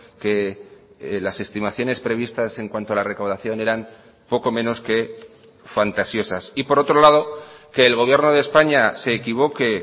que las estimaciones previstas en cuanto a la recaudación eran poco menos que fantasiosas y por otro lado que el gobierno de españa se equivoque